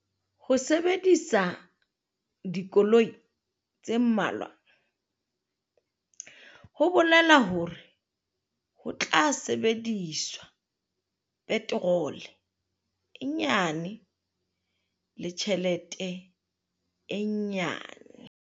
Ho sebedisa dikoloi tse mmalwa ho bolela hore ho tla sebediswa peterole e nyane le tjhelete e nyane.